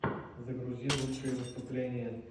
загрузи лучшие выступления